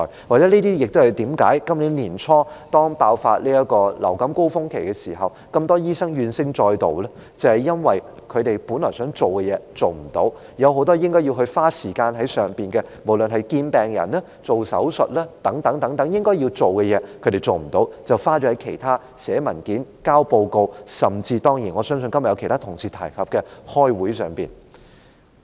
或許這些是今年年初，當爆發流感高峰期時，這麼多醫生怨聲載道的原因，正因為他們本來想做的工作無法做，有很多應做的事情，無論是見病人、施手術等應做的事，他們無法做，卻要花時間在其他事項上，例如寫文件、交報告，以及今天有其他同事提及的出席會議等。